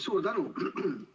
Suur tänu!